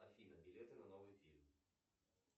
афина билеты на новый фильм